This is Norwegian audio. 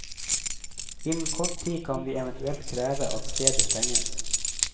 Innen kort tid kan vi eventuelt kreve at stedet stenges.